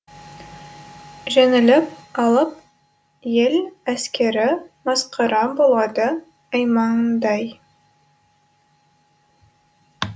жеңіліп алып ел әскері масқара болады аймандай